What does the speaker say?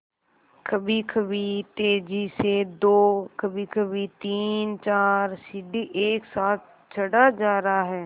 कभीकभी तेज़ी से दो कभीकभी तीनचार सीढ़ी एक साथ चढ़ा जा रहा है